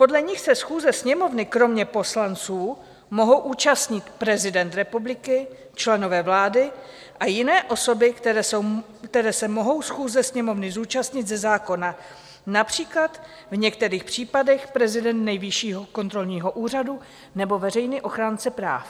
Podle nich se schůze Sněmovny kromě poslanců mohou účastnit: prezident republiky, členové vlády a jiné osoby, které se mohou schůze Sněmovny zúčastnit ze zákona, například v některých případech prezident Nejvyššího kontrolního úřadu nebo veřejný ochránce práv.